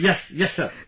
Yes...Yes Sir